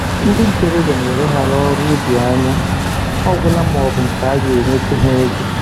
Ndị ntoroọbịa na-eleghara ọrụ ubi anya ọgwụla ma ọ bụ nke a ga-enyetụ ha ego